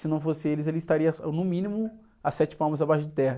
Se não fossem eles, eu estaria, no mínimo, a sete palmos abaixo de terra.